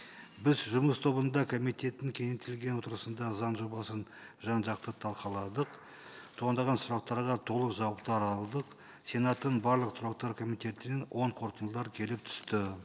біз жұмыс тобында комитеттің кеңейтілген отырысында заң жобасын жан жақты талқыладық туындаған сұрақтарға толық жауаптар алдық сенаттың барлық тұрақты комитетінен оң қорытындылар келіп түсті